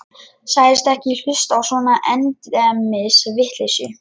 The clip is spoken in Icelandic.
Sagðist ekki hlusta á svona endemis vitleysu.